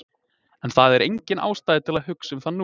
En það er engin ástæða til að hugsa um það nú.